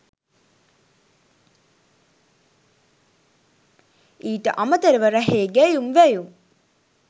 ඊට අමතරව රැහේ ගැයුම් වැයුම්